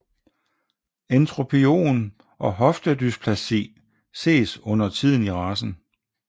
Entropion og hoftedysplasi ses undertiden i racen